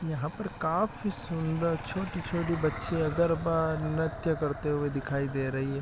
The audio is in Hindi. यहाँ पर काआफी सुंदर छोटी-छोटी बच्चियाँ गरबा नृत्य करते हुए दिखाई दे रही हैं ।